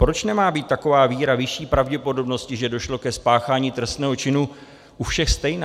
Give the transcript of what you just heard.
Proč nemá být taková víra vyšší pravděpodobnosti, že došlo ke spáchání trestného činu, u všech stejná?